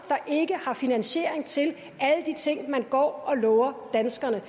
ikke har finansiering til alle de ting man går og lover danskerne